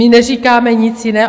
My neříkáme nic jiného.